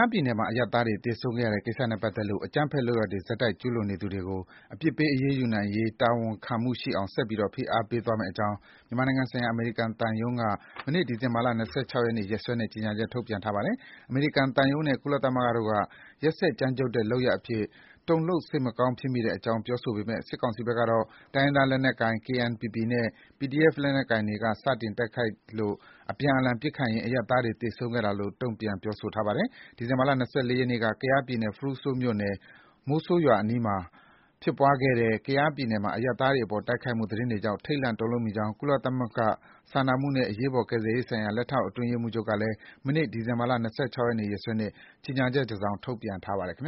ားပြည်နယ်မှာ အရပ်သားတွေ သေဆုံးခဲ့ရတဲ့ ကိစ္စနဲ့ပတ်သက်လို့ အကြမ်းဖက် လုပ်ရပ်တွေ ဆက်တိုက်ကျုးလွန်နေသူတွေကို အပြစ်ပေး အရေးယူနိုင်ရေး တာဝန်ခံမှုရှိအောင် ဆက်ပြီး ဖိအားပေးသွားမယ့်အကြောင်း မြန်မာနိုင်ငံဆိုင်ရာ အမေရိကန်သံရုံးက မနေ့ ဒီဇင် ဘာ ၂၆ ရက်နေ့ ရက်စွဲနဲ့ ကြေညာချက် ထုတ်ပြန်ထားပါတယ်။ အမေရိကန်သံရုံးနဲ့ ကုလသမဂ္ဂတို့က ရက်စက်ကြမ်းကြုတ်တဲ့လုပ်ရပ်အဖြစ် တုန်လှုပ် စိတ်မကောင်းဖြစ်မိတဲ့အကြောင်း ပြောဆိုပေမဲ့ စစ်ကောင်စီဘက်ကတော့ တိုင်းရင်းသား လက်နက်ကိုင် KNPP နဲ့ PDF လက်နက်ကိုင်တွေက စတင်တိုက်ခိုက်လို့ အပြန်အလှန်ပစ်ခတ်ရင်း အရပ်သားတွေ သေဆုံးခဲ့တာလို့ တုံ့ပြန်ပြောဆိုပါတယ်။ ဒီဇင်ဘာလ ၂၄ ရက်နေ့က ကယားပြည်နယ် ဖရူးဆိုမြို့နယ် မိုဆိုးရွာအနီးမှာဖြစ်ပွားခဲ့တဲ့အရပ်သားတွေအပေါ် တိုက်ခိုက်မှုသတင်းတွေကြောင့် ထိတ်လန့်တုန်လှုပ်မိကြောင်း ကုလသမဂ္ဂ စာနာမှုနဲ့အရေးပေါ် ကယ်ဆယ်ရေးဆိုင်ရာ လက်ထောက်အတွင်းရေးမှူးချုပ်ကလည်း မနေ့ ဒီဇင်ဘာလ ၂၆ ရက်နေ့ နေ့စွဲနဲ့ ကြေညာချက်တစောင် ထုတ်ပြန်ပါတယ်။ ခိုင်